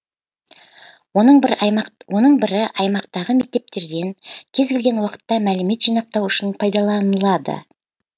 оның бірі аймақтағы мектептерден кез келген уақытта мәлімет жинақтау үшін пайдаланылады